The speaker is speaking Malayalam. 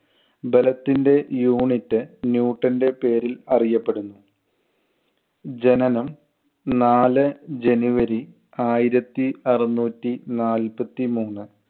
ബലത്തിന്‍റെ unit ന്യൂട്ടന്‍റെ പേരിൽ അറിയപ്പെടുന്നു. ജനനം നാല് january ആയിരത്തി അറുനൂറ്റി നാൽപ്പത്തി മൂന്ന്.